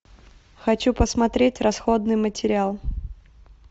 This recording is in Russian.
хочу посмотреть расходный материал